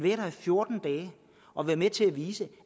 fjorten dage og være med til at vise